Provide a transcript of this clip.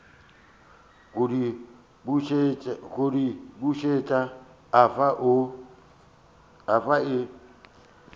go di bušet afa o